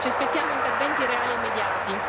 Ci aspettiamo interventi reali e immediati.